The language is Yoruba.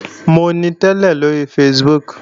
Mò ń tẹ́lẹ̀ lóri Facebook